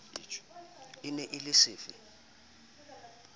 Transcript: e ne e le sefe